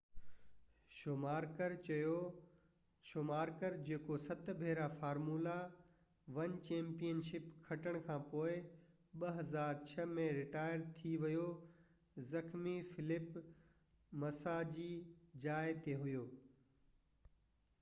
show ماڪر جيڪو 7 ڀيرا formula 1 championship کٽڻ کانپوءِ 2006 ۾ رٽائر ٿي ويو زخمي فيلپ مسا جي جاءِ تي هو